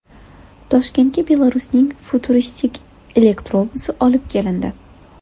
Toshkentga Belarusning futuristik elektrobusi olib kelindi .